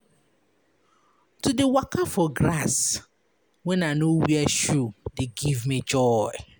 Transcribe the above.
To dey waka for grass wen I no wear shoe dey give me joy.